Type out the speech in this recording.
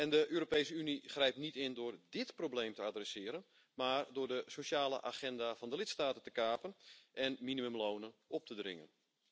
De Europese Unie grijpt niet in door dit probleem aan te pakken, maar door de sociale agenda van de lidstaten te kapen en minimumlonen op te dringen.